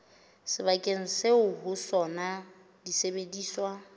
sebakeng seo ho sona disebediswa